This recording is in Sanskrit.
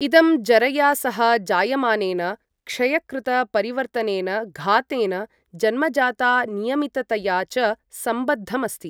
इदं जरया सह जायमानेन क्षयकृतपरिवर्तनेन, घातेन, जन्मजातानियमिततया च संबद्धमस्ति।